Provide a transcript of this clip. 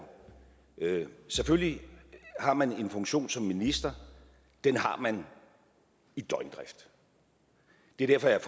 selvfølgelig har man en funktion som minister den har man i døgndrift det er derfor jeg